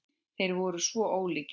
Þeir voru svo ólíkir.